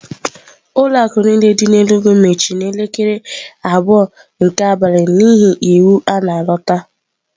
Ụlọ akụ niile dị n'Enugwu mechiri n'elekere abụọ nke abalị n'ihi iwu a na-alọta.